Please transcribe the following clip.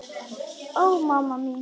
Ó, mamma mín.